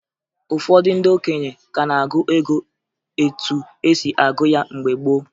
Ụfọdụ ndị okenye ka n'agụ ego etu esi agụ ya mgbe gboo